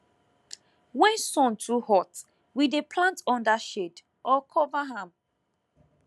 when sun too hot we dey plant under shade or cover am